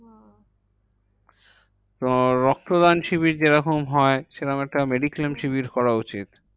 তো রক্তদান শিবির যেরকম হয়, সেরকম একটা mediclaim শিবির করা উচিত।